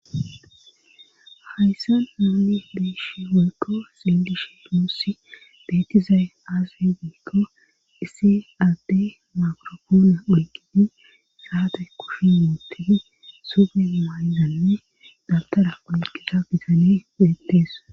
Hayssan nuuni biishi woykko singish duussi beettizay aase giikko issi ade makropoona oyqini saate kushi muutii sufe umayzanne dabtara oyqisa bizanee deettees